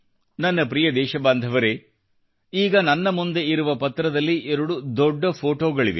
ನನ್ನ ಪ್ರಿಯ ದೇಶಬಾಂಧವರೆ ಈಗ ನನ್ನ ಮುಂದೆ ಇರುವ ಪತ್ರದಲ್ಲಿ 2 ದೊಡ್ಡ ಫೊಟೋಗಳಿವೆ